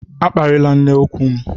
A kparịla nne nku m!